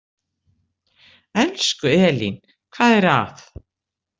Elsku Elín, hvað er að?